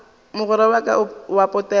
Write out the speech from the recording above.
mogwera wa ka wa potego